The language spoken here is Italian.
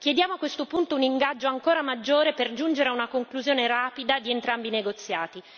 Chiediamo a questo punto un ingaggio ancora maggiore per giungere ad una conclusione rapida di entrambi i negoziati.